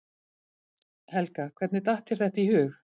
Helga: Hvernig datt þér þetta í hug?